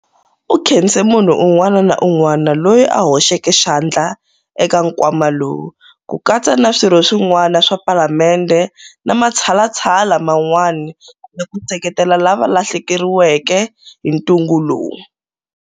U khense munhu un'wana na un'wana loyi a hoxeke xandla eka nkwama lowu, ku katsa na Swirho swin'wana swa Palamende na matshalatshala man'wana ya ku seketela lava va hlaseriweke hi ntungu lowu.